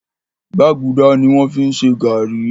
Gbàgùdà ni wọ́n fi ń ṣe gàárì